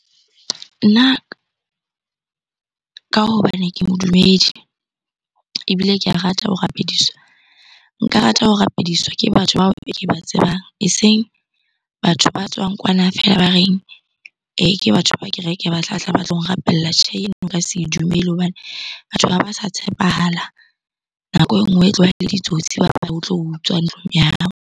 Nna ka hobane ke modumedi ebile ke a rata ho rapediswa. Nka rata ho rapediswa ke batho bao ke ba tsebang, eseng batho ba tswang kwana feela ba reng ke batho ba kereke ba tlatla ba tlo nrapella. Tjhe, eno nka se e dumele hobane batho ha ba sa tshepahala. Nako e nngwe e tloha ele ditsotsi ba tlo utswa ntlong ya hao.